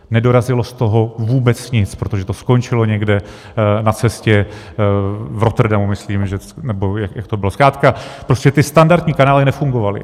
Nedorazilo z toho vůbec nic, protože to skončilo někde na cestě v Rotterdamu, myslím, nebo jak to bylo, zkrátka prostě ty standardní kanály nefungovaly.